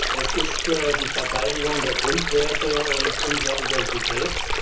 Es ist die Verteidigung der Grundwerte und unserer Identität.